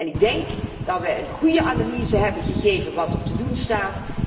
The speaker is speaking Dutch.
Ik denk dat wij een goede analyse hebben gegeven van wat er te doen staat.